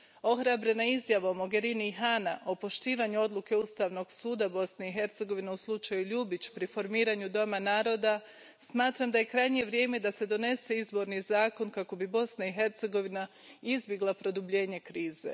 Ohrabrena izjavom Mogherini i Hana o poštivanju odluke Ustavnog suda Bosne i Hercegovine u slučaju Ljubić pri formiranju Doma naroda, smatram da je krajnje vrijeme da se donese izborni zakon, kako bi Bosna i Hercegovina izbjegla produbljenje krize.